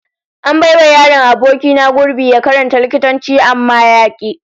An bai wa yaron aboki na gurbi ya karanta likitanci amma ya ki